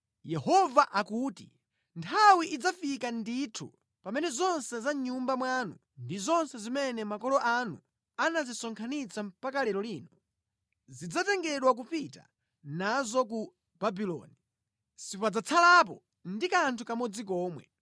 Yehova akuti, nthawi idzafika ndithu pamene zonse za mʼnyumba mwanu ndi zonse zimene makolo anu anazisonkhanitsa mpaka lero lino, zidzatengedwa kupita nazo ku Babuloni. Sipadzatsalapo ndi kanthu kamodzi komwe.